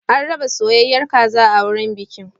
An raba soyayyar kaza a wurin bikin.